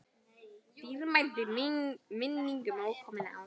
Dýrmæt minning um ókomin ár.